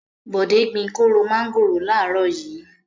Bọ̀dé gbin kóró mángòrò láàárọ̀ yìí.